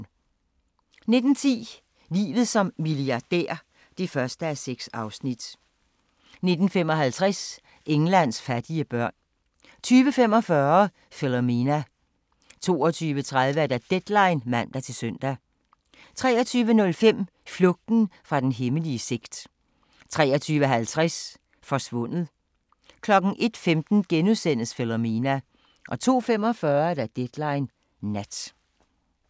19:10: Livet som milliardær (1:6) 19:55: Englands fattige børn 20:45: Philomena 22:30: Deadline (man-søn) 23:05: Flugten fra den hemmelige sekt 23:50: Forsvundet 01:15: Philomena * 02:45: Deadline Nat